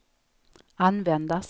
användas